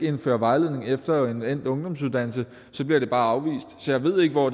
indføre vejledning efter en endt ungdomsuddannelse bliver det bare afvist så jeg ved ikke hvor